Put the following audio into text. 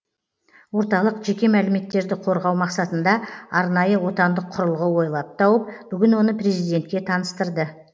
орталық жеке мәліметтерді қорғау мақсатында арнайы отандық құрылғы ойлап тауып бүгін оны президентке таныстырды